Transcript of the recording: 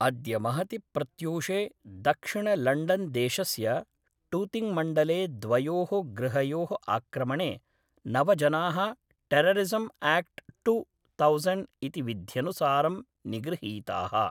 अद्य महति प्रत्यूषे दक्षिणलण्डन् देशस्य टूतिङ् मण्डले द्वयोः गृहयोः आक्रमणे नव जनाः टेररिसम् आक्ट् टु तौसेण्ड् इति विध्यनुसारं निगृहीताः